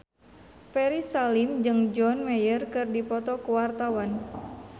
Ferry Salim jeung John Mayer keur dipoto ku wartawan